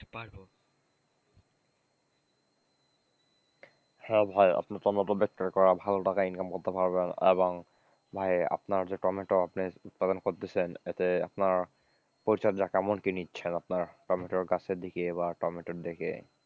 হ্যাঁ ভাই আপনি টমেটো বিক্রি করে ভালো টাকা income করতে পারবেন, এবং ভাই আপনার যে টমেটো আপনি উৎপাদন করতেছেন এতে আপনার পরিচর্যা কেমন কি নিচ্ছে আপনার টমেটো গাছের দিকে এবার টমেটোর দিকে,